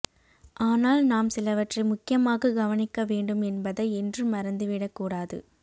ஆனால் நாம் சிலவற்றை முக்கியமாக கவனிக்க வேண்டும் என்பதை என்றும் மறந்து விட கூடாது